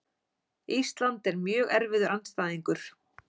Ísland er mjög erfiður andstæðingur.